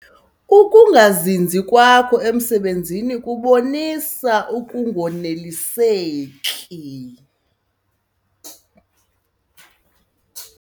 Ukungazinzi kwakho emisebenzini kubonisa ukunganeliseki.